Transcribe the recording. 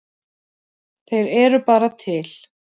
Þeir eru bara til.